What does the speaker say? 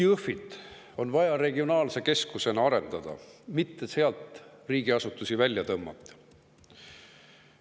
Just Jõhvit on vaja regionaalse keskusena arendada, mitte sealt riigiasutusi välja tõmmata.